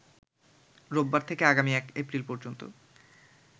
রোববার থেকে আগামী ১ এপ্রিল পর্যন্ত